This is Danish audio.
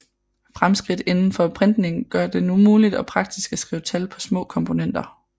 Fremskridt indenfor printning gør det nu muligt og praktisk at skrive tal på små komponenter